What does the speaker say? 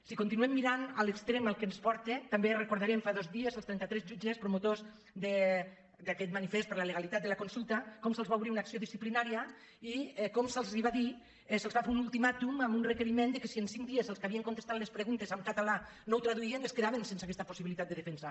si continuem mirant a l’extrem al que ens porta tam·bé recordarem fa dos dies els trenta·tres jutges pro·motors d’aquest manifest per la legalitat de la consul·ta com se’ls va obrir una acció disciplinària i com se’ls va dir se’ls va fer un ultimàtum amb un reque·riment que si en cinc dies els que havien contestat les preguntes en català no ho traduïen es quedaven sense aquesta possibilitat de defensa